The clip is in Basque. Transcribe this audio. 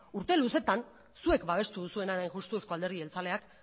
urte luzeetan zuek babestu duzuenaren hain justu eusko alderdi jeltzaleak